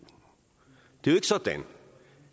det er jo sådan